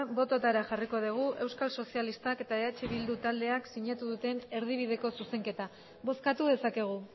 bototara jarriko dugu euskal sozialistak eta eh bildu taldeak sinatu duen erdibideko zuzenketa bozkatu dezakegu